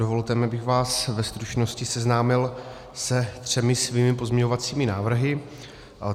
Dovolte mi, abych vás ve stručnosti seznámil se svými třemi pozměňovacími návrhy.